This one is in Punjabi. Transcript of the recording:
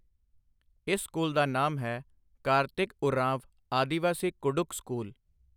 ਇਸ ਸਕੂਲ ਦਾ ਨਾਮ ਹੈ ਕਾਰਤਿਕ ਉਰਾਂਵ ਆਦਿਵਾਸੀ ਕੁਡੁਖ ਸਕੂਲ।